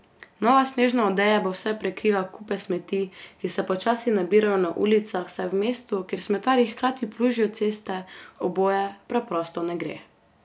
Nova snežna odeja bo vsaj prekrila kupe smeti, ki se počasi nabirajo na ulicah, saj v mestu, kjer smetarji hkrati plužijo ceste, oboje preprosto ne gre.